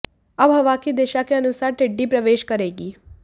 अब हवा की दिशा के अनुसार टिड्डी प्रवेश करेगी